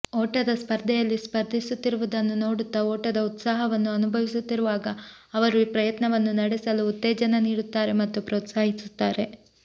ಓಟದ ಸ್ಪರ್ಧೆಯಲ್ಲಿ ಸ್ಪರ್ಧಿಸುತ್ತಿರುವುದನ್ನು ನೋಡುತ್ತಾ ಓಟದ ಉತ್ಸಾಹವನ್ನು ಅನುಭವಿಸುತ್ತಿರುವಾಗ ಅವರು ಪ್ರಯತ್ನವನ್ನು ನಡೆಸಲು ಉತ್ತೇಜನ ನೀಡುತ್ತಾರೆ ಮತ್ತು ಪ್ರೋತ್ಸಾಹಿಸುತ್ತಾರೆ